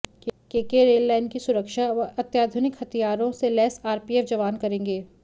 KK rail line की सुरक्षा अब अत्याधुनिक हथियारों से लैस आरपीएफ जवान करेंगे